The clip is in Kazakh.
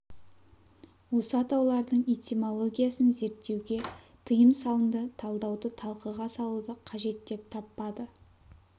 осы атаулардың этимологиясын зерттеуге тиым салынды талдауды талқыға салуды қажет деп таппады